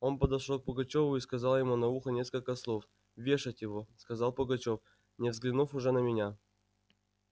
он подошёл к пугачёву и сказал ему на ухо несколько слов вешать его сказал пугачёв не взглянув уже на меня